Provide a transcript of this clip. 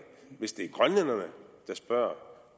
hvis det er grønlænderne der spørger